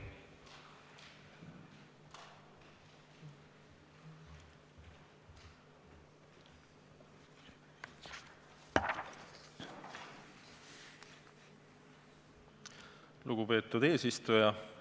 Lugupeetud eesistuja!